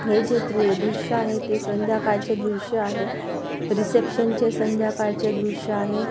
हे जे दृश्य आहे ते संध्याकाळचे दृश्य आहे रिशेप्सनचे संध्याकाळचे दृश्य आहे.